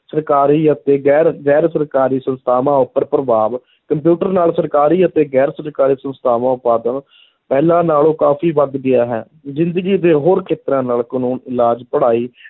ਸਰਕਾਰੀ ਅਤੇ ਗੈਰ ਗੈਰ ਸਰਕਾਰੀ ਸੰਸਥਾਵਾਂ ਉੱਪਰ ਪ੍ਰਭਾਵ, ਕੰਪਿਊਟਰ ਨਾਲ ਸਰਕਾਰੀ ਅਤੇ ਗੈਰ-ਸਰਕਾਰੀ ਸੰਸਥਾਵਾਂ ਉਤਪਾਦਨ ਪਹਿਲਾਂ ਨਾਲੋਂ ਕਾਫ਼ੀ ਵੱਧ ਗਿਆ ਹੈ, ਜ਼ਿੰਦਗੀ ਦੇ ਹੋਰ ਖੇਤਰਾਂ ਨਾਲ ਕਾਨੂੰਨ, ਇਲਾਜ, ਪੜ੍ਹਾਈ,